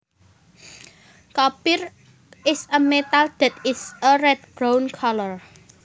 Copper is a metal that is a red brown colour